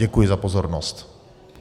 Děkuji za pozornost.